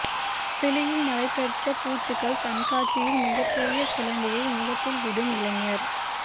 சிலியில் நடைபெற்ற பூச்சிகள் கண்காட்சியில் மிகப்ரெிய சிலந்தியை முகத்தில் விடும் இளைஞர்